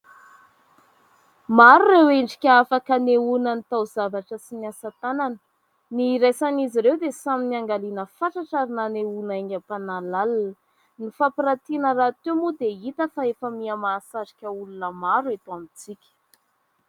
Maro ireo endrika afaka hanehoana ny tao- zavatra sy ny asa tanana. Ny iraisan'izy ireo dia samy niangaliana fatratra ary nanehoana aingam-panahy lalina. Ny fampirantiana rahateo moa dia hita fa efa miha- mahasarika olona maro eto amintsika.